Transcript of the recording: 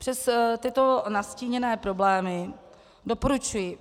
Přes tyto nastíněné problémy doporučuji